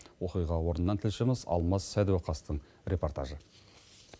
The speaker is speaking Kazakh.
оқиға орнынан тілшіміз алмас сәдуақастың репортажы